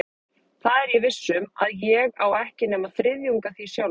Það er ég viss um, að ég á ekki nema þriðjung af því sjálfur.